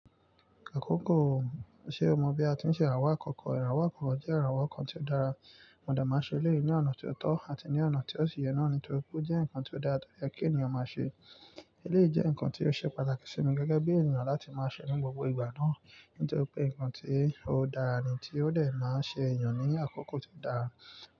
Àkókò, ṣe o mọ bi a ti ń ṣe ìràwọ̀ àkọ́kọ́? Ìràwọ̀ àkọ́kọ́ jẹ́ ìràwọ̀ kan tí ó dára, mo dà máa ṣe eléyìí ní ọ̀nà tí ó tọ́ àti ní ọ̀nà tí ó ṣi yẹ náà ní torí pé ó jẹ́ nǹkan tí ó dára tó yẹ kí ènìyàn máa ṣe. Eléyìí jẹ́ nǹkan tí ó ṣe pàtàkì sí mi gẹ́gẹ́ bí ènìyàn láti máa ṣe ní gbogbo ìgbà náà ní torí pé nǹkan tí ó dára ni tí ó lè máa ṣe ènìyàn ní àkókò tí o dára.